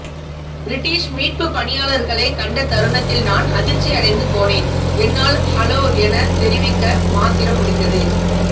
British மீட்பு பணியாளர்களை கண்ட தருணத்தில் நான் அதிர்ச்சியடைந்து போனேன் என்னால் ஹலோ என தெரிவிக்க மாத்திரம் முடிந்தது